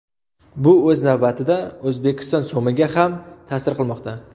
Bu o‘z navbatida O‘zbekiston so‘miga ham ta’sir qilmoqda.